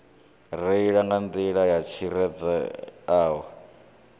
reila nga nḓila yo tsireledzeaho